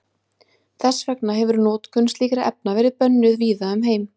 Þess vegna hefir notkun slíkra efna verið bönnuð víða um heim.